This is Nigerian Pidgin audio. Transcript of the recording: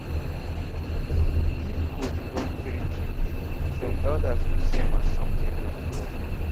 if goat born three kids some elders go see am as something from god